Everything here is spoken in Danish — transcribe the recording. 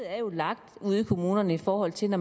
er jo lagt ude i kommunerne i forhold til at